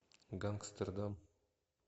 гангстердам